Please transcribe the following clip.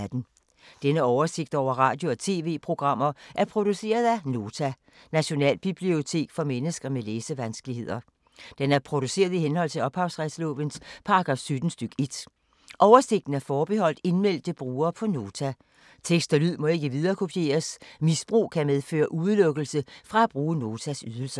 Denne oversigt over radio og TV-programmer er produceret af Nota, Nationalbibliotek for mennesker med læsevanskeligheder. Den er produceret i henhold til ophavsretslovens paragraf 17 stk. 1. Oversigten er forbeholdt indmeldte brugere på Nota. Tekst og lyd må ikke viderekopieres. Misbrug kan medføre udelukkelse fra at bruge Notas ydelser.